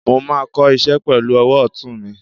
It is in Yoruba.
mo ma kò iṣẹ pelu owò otún mí